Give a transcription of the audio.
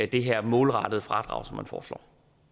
det her målrettede fradrag som man foreslår